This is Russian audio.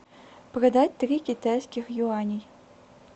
продать три китайских юаней